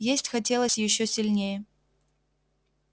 есть хотелось ещё сильнее